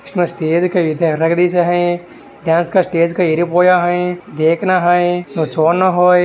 Stage का dance का stage येरी पोरा है देखना है। --